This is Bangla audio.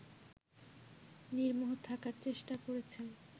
নির্মোহ থাকার চেষ্টা করেছেন